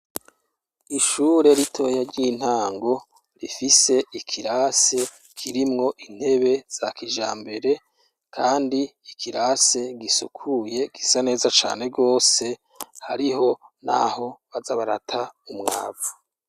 Ishure ritoya ry' intango, rifise ikirasi kirimwo intebe za kijambere, kandi ikirase gisukuye gusa neza cane gose, hariho naho baza barata umwavu.